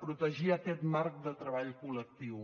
protegir aquest marc de treball col·lectiu